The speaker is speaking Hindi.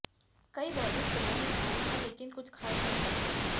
कई बॉलीवुड फिल्मों में आई हैं लेकिन कुछ खास नहीं कर पाईं